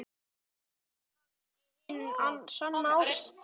Er það ekki hin sanna ást?